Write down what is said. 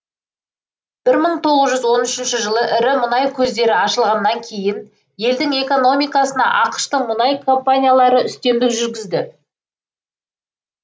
бір мың тоғыз жүз он үшінші жылы ірі мұнай көздері ашылғаннан кейін елдің экономикасына ақш тың мұнай компаниялары үстемдік жүргізді